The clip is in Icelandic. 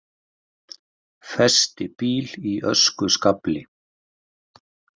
Festi bíl í öskuskafli